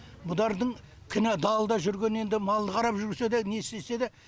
бұдардың кінә далада жүрген енді малды қарап жүрсе де не істесе де